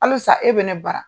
Hali sa e be ne bara.